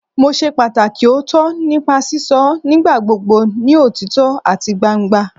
Mo ṣe pataki ooto nipa sisọ nigbagbogbo ni otitọ ati gbangba